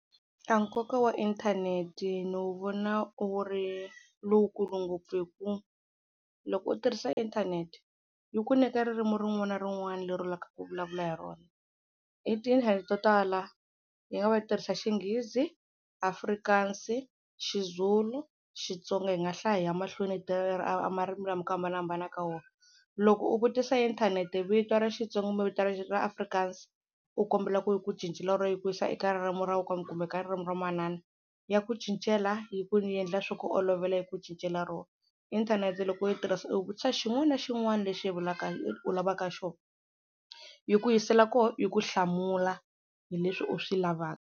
A nkoka wa inthanete ni wu vona wu ri lowukulu ngopfu hi ku loko u tirhisa inthanete yi ku nyika ririmi rin'wana na rin'wana leri u lavaka ku vulavula hi rona, i tindlela to tala yi nga va yi tirhisa Xinghizi, Afrikaans, xiZulu, Xitsonga hi nga hlaya hi ya mahlweni marimi lama hi ku hambanahambana ka wona, loko u vutisa inthanete vito ra Xitsonga kumbe vito ra ra Afrikaans u kombela ku yi ku cincela ro yi ku yisa eka ririmi ra kumbe ka ririmi ra manana ya ku cincela yi ku endla swi ku olovela yi ku cincela ro, inthanete loko yi tirhisa u vutisa xin'wana na xin'wana lexi u u lavaka xo, yi ku yisela ko yi ku hlamula hi leswi u swi lavaka.